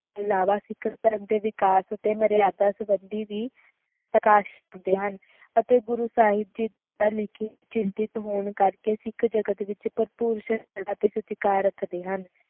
ਅਲਾਵਾ ਜ਼ਿਕਰ ਕਰਨ ਤੇ ਵਿਕਾਸ ਅਤੇ ਮਰਯਾਦਾ ਸੰਬੰਧੀ ਵੀ ਪ੍ਰਕਾਸ਼ ਕਰਦੇ ਹਨ ਅਤੇ ਗੁਰੂ ਸਾਹਿਬ ਦਾ ਲਿਖਿਤ ਚਿੰਤਿਤ ਹੋਣ ਕਰਕੇ ਸਿੱਖ ਜਗਤ ਵਿਚ ਭਰਪੂਰ ਸਨਮਾਨ ਅਤੇ ਸਤਿਕਾਰ ਰੱਖਦੇ ਹਨ